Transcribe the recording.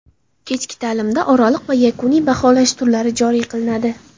Kechki ta’limda oraliq va yakuniy baholash turlari joriy qilinadi.